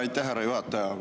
Aitäh, härra juhataja!